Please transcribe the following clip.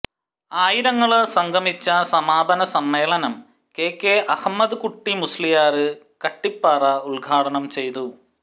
ആയിരങ്ങള് സംഗമിച്ച സമാപന സമ്മേളനം കെ കെ അഹമ്മദ് കുട്ടി മുസ്ലിയാര് കട്ടിപ്പാറ ഉദ്ഘാടനം ചെയ്തു